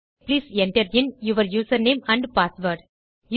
ஆகவே please enter in your username and password